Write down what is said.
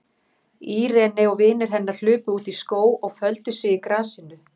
Irene og vinir hennar hlupu út í skóg og földu sig í grasinu.